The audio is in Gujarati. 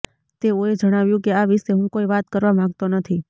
તેઓએ જણાવ્યું કે આ વિશે હું કોઈ વાત કરવા માંગતો નથી